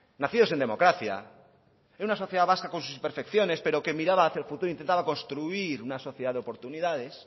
nacidos en democracia en una sociedad vasca con sus imperfecciones pero que miraba hacia el futuro intentaba construir una sociedad de oportunidades